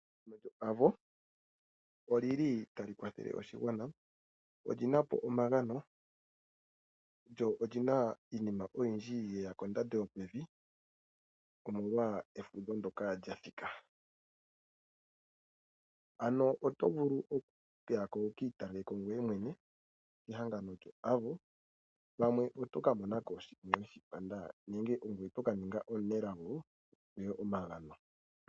Ehangano lyoAvo otali kwathele oshigwana. Oli na po omagano lyo oli na iinima oyindji ye ya kondando yopevi omolwa efudho ndyoka lya thika. Ano oto vulu okuya ko wu ka italele ko ngoye mwene kehangano lyoAvo, pamwe oto ka mona ko sha we shi panda nenge ongoye to ka ninga omusindani omunelago wu pewe omagano.